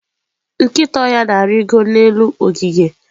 nkịta ọhịa na-arịgo n'elu ogige.